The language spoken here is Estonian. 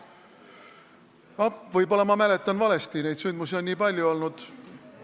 Võib-olla ma mäletan valesti, neid sündmusi on nii palju olnud.